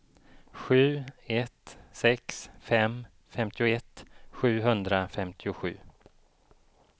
sju ett sex fem femtioett sjuhundrafemtiosju